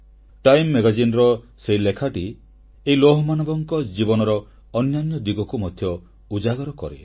time Magazineର ସେହି ଲେଖାଟି ଏହି ଲୌହମାନବଙ୍କ ଜୀବନର ଅନ୍ୟାନ୍ୟ ଦିଗକୁ ମଧ୍ୟ ଉଜାଗର କରେ